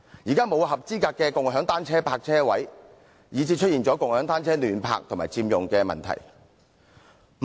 現時沒有正規的共享單車泊車位，以致出現共享單車胡亂停泊及佔用地方的問題。